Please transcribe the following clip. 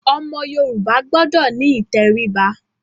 Ọmọ Yorùbá gbọdọ̀ ní ìtẹríba.